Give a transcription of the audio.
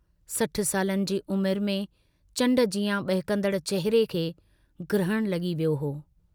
60 सालनि जी उमुरु में चण्ड जियां बहकंदड़ चहिरे खे ग्रहणु लगी वियो हो।